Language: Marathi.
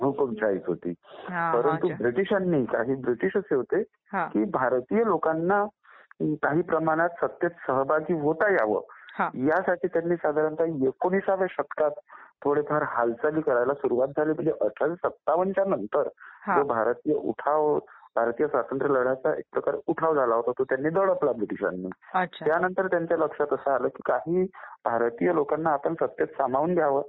हुकूमशाहीच होती. परंतु ब्रिटिशांनी, काही ब्रिटिश असे होते की भारतीय लोकांना काही प्रमाणात सत्तेत सहभागी होता यावं ह्यासाठी त्यांनी साधारणतः एकोणिसाव्या शतकात थोडेफार हालचाली करायला सुरुवात झाली म्हणजे अठराशे सत्तावन्नच्या नंतर भारतीय स्वातंत्र्यलढ्याचा उठाव जो एक उठाव झाला होता, तो त्यांनी दडपला ब्रिटिशांनी. त्यांनतर त्यांच्या लक्षात असं आलं की काही भारतीय लोकांना आपण सत्तेत सामावून घ्यावं.